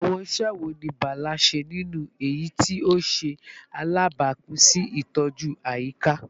Awọn iṣẹ wo ni Bala ṣe ninu eyiti o ṣe alabapin si itọju ayika?